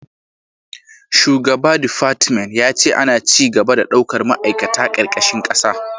Shugaba defartment ya ce ana ci gaba da daukar ma'aikata karkashin kasa